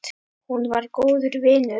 Hún var góður vinur.